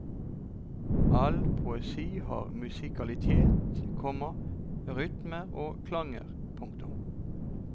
All poesi har musikalitet, komma rytmer og klanger. punktum